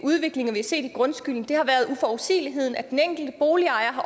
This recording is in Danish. udviklinger vi har set i grundskylden har været uforudsigeligheden at de enkelte boligejere